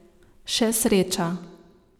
Še sreča.